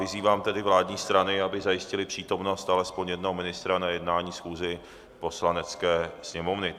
Vyzývám tedy vládní strany, aby zajistily přítomnost alespoň jednoho ministra na jednání schůze Poslanecké sněmovny.